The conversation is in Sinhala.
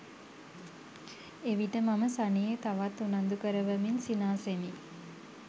එවිට මම සනී තවත් උනන්දු කරවමින් සිනාසෙමි.